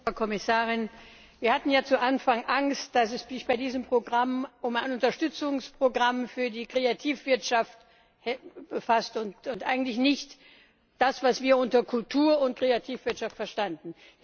Herr Präsident, Frau Kommissarin! Wir hatten ja zu Anfang Angst, dass es sich bei diesem Programm um ein Unterstützungsprogramm für die Kreativwirtschaft handelt und eigentlich nicht das, was wir unter Kultur und Kreativwirtschaft verstanden.